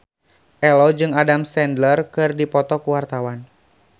Ello jeung Adam Sandler keur dipoto ku wartawan